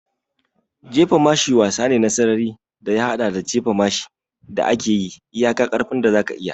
Jefa mashi wasa ne na sarari da ya haɗa da jifan mashi da ake yi iyaka ƙarfin da zaka iya.